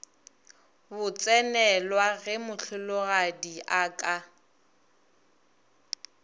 botsenelwa ge mohlologadi a ka